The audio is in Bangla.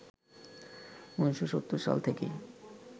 ১৯৭০ সাল থেকেই